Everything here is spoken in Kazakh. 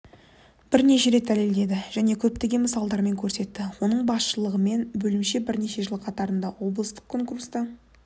бірнеше рет дәлелдеді және көптеген мысалдармен көрсетті оның басшылығымен бөлімше бірнеше жыл қатарынан облыстық конкурста